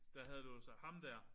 Der havde du jo sagt ham der